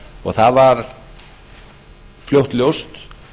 og það var fljótt ljóst